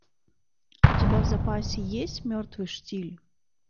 у тебя в запасе есть мертвый штиль